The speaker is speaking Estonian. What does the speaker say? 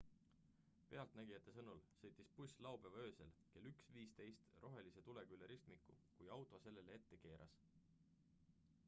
pealtnägijate sõnul sõitis buss laupäeva öösel kell 1.15 rohelise tulega üle ristmiku kui auto sellele ette keeras